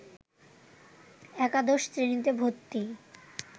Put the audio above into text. একাদশ শ্রেণিতে ভর্তি